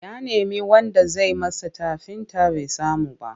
Ya nemi wanda zai masa tafinta bai samu ba.